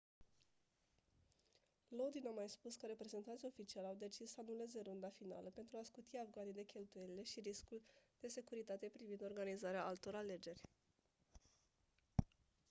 lodin a mai spus că reprezentanții oficiali au decis să anuleze runda finală pentru a scuti afganii de cheltuielile și riscul de securitate privind organizarea altor alegeri